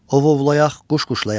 Ovuovlayaq, quşquşlayaq.